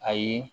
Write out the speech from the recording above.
Ayi